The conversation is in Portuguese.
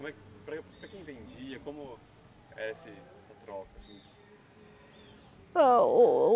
como é. Para para quem vendia, como era esse essa troca assim?